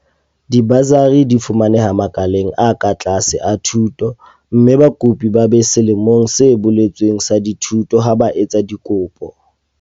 Dibasari di fumaneha makaleng a ka tlase a thuto mme bakopi ba be selemong se boletsweng sa dithuto ha ba etsa dikopo.